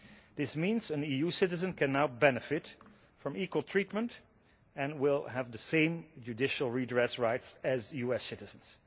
This means an EU citizen can now benefit from equal treatment and will have the same judicial redress rights as US citizens.